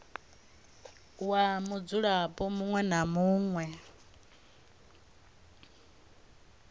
wa mudzulapo muṅwe na muṅwe